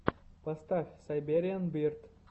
поставь сайбериан бирд